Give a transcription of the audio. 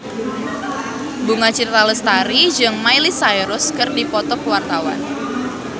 Bunga Citra Lestari jeung Miley Cyrus keur dipoto ku wartawan